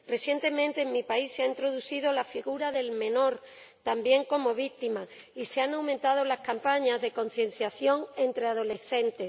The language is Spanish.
Recientemente, en mi país, se ha introducido la figura del menor también como víctima, y se han aumentado las campañas de concienciación entre adolescentes.